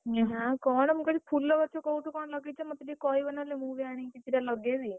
ନା କଣ ମୁଁ କହିଲି ଫୁଲଗଛ କୋଉଠୁ କଣ ଲଗେଇଛ ମୋତେ ଟିକେ କହିବ ନହେଲେ ମୁଁ ବି ଆଣିକି ଦିଟା ଲଗେଇବି।